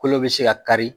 Kolo bɛ se ka kari